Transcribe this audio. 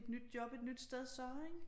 Et nyt job et nyt sted så ikke